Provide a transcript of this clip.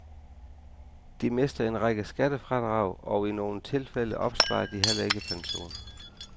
De mister en række skattefradrag, og i nogen tilfælde opsparer de heller ikke pension.